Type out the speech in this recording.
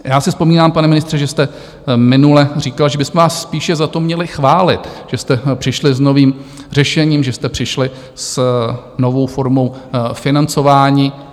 Já si vzpomínám, pane ministře, že jste minule říkal, že bychom vás spíše za to měli chválit, že jste přišli s novým řešením, že jste přišli s novou formou financování.